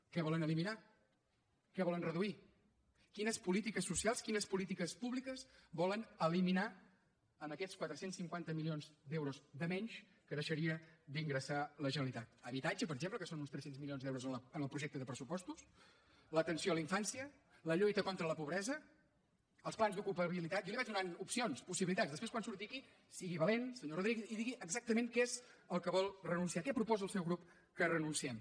què volen eliminar què volen reduir quines polítiques socials quines polítiques públiques volen eliminar amb aquests quatre cents i cinquanta milions d’euros de menys que deixaria d’ingressar la generalitat habitatge per exemple que són uns tres cents milions d’euros en el projecte de pressupostos l’atenció a la infància la lluita contra la pobresa els plans d’ocupabilitat jo li vaig donant opcions possibilitats després quan surti aquí sigui valent senyor rodríguez i digui exactament a què és que vol renunciar a què proposa el seu grup que renunciem